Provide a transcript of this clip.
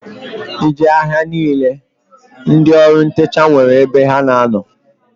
I jee na-ahia niile ndị ọrụ ntecha nwere ebe ha na-ano.